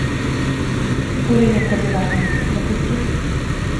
пуленепробиваемый запусти